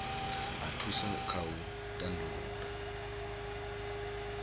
a thusa kha u tandulula